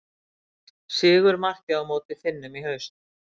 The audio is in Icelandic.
Sigurmarkið á móti Finnum í haust.